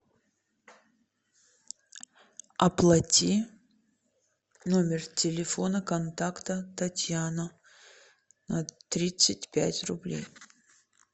оплати номер телефона контакта татьяна на тридцать пять рублей